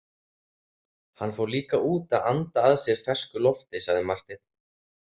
Hann fór líka út að anda að sér fersku lofti, sagði Marteinn.